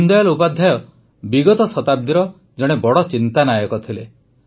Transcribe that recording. ଦୀନଦୟାଲ୍ ଉପାଧ୍ୟାୟ ବିଗତ ଶତାବ୍ଦୀର ଜଣେ ବଡ଼ ଚିନ୍ତାନାୟକ ଥିଲେ